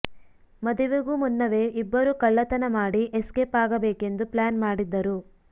ಮದುವೆಗೂ ಮುನ್ನವೇ ಇಬ್ಬರು ಕಳ್ಳತನ ಮಾಡಿ ಎಸ್ಕೇಪ್ ಆಗಬೇಕೆಂದು ಪ್ಲಾನ್ ಮಾಡಿದ್ದರು